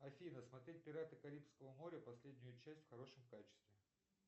афина смотреть пираты карибского моря последнюю часть в хорошем качестве